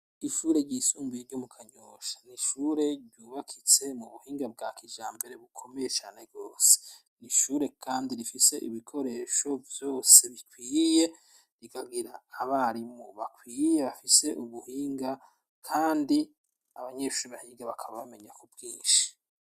Ishure ry'isumbuye ryo mu Kanyosha ni ishure ryubakitse mu buhinga bwa kijambere bukomeye cane gose. Ni ishure kandi rifise ibikoresho vyose rikwiye, rikagira abarimu bakwiye bafise ubuhinga kandi abanyeshure bahinga bakaba bamenya ku bwinshi.